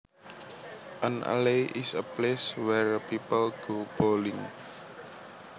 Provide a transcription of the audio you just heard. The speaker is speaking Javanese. An alley is a place where people go bowling